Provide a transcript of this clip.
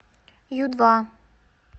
ю два